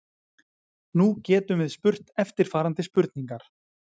Nú getum við spurt eftirfarandi spurningar: